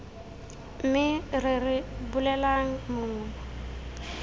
me re re bolelelang mongwe